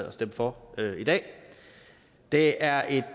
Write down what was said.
at stemme for i dag det er et